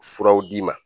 Furaw d'i ma